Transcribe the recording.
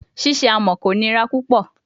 Ṣiṣe amọ ko nira pupọ